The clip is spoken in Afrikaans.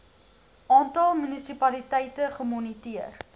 aantal munisipaliteite gemoniteer